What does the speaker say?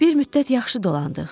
Bir müddət yaxşı dolandıq.